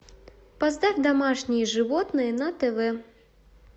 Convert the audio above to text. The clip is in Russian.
поставь домашние животные на тв